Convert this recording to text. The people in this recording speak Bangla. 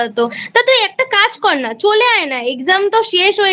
হত। তা তুই একটা কাজ করনা চলে আয় না Exam তো শেষ হয়ে